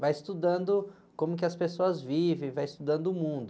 Vai estudando como que as pessoas vivem, vai estudando o mundo.